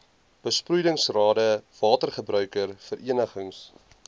besproeiingsrade watergebruiker verenigings